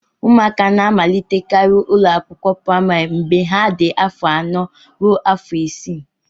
ụmụaka na-amalitekarị ụlọ akwụkwọ praịmarị mgbe ha dị afọ anọ ruo afọ isii